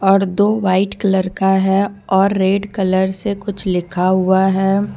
और दो white colour का है और रेड कलर से कुछ लिखा हुआ है।